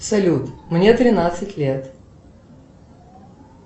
салют мне тринадцать лет